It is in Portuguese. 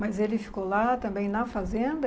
Mas ele ficou lá também na fazenda?